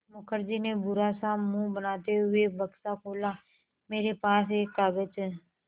मुखर्जी ने बुरा सा मुँह बनाते हुए बक्सा खोला मेरे पास एक कागज़ है